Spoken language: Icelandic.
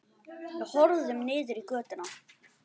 Við horfum niður í götuna.